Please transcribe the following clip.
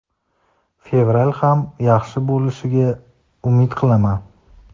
Fevral ham yaxshi bo‘lishiga umid qilaman.